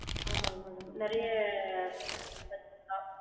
ஆமாங் madam நிறைய வச்சிக்கலாம்